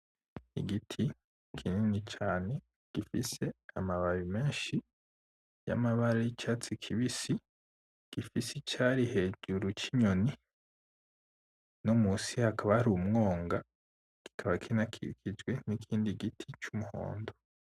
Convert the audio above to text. Igiti kinini cane , gifise amababi menshi y'amabara y'icatsi kibisi , gifise icari hejuru c'inyoni , nomusi hakaba hari umwonga , kikaba kinakikijwe n'ikindi giti c'umuhundo .